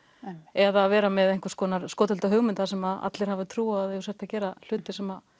eða vera með einhvers konar skothelda hugmynd þar sem allir hafa trú á að þú sért að gera hluti sem